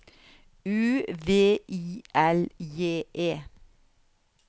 U V I L J E